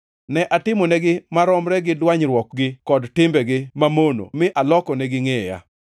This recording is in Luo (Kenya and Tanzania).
Ne atimonegi maromre gi dwanyruokgi kod timbegi mamono mi alokonegi ngʼeya.